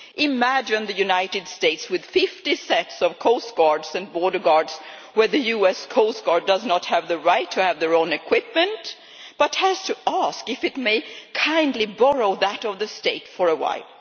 Imagine the United States with fifty sets of coastguards and border guards, where the US Coast Guard does not have the right to have its own equipment, but has to ask if it may kindly borrow that of the state for a while.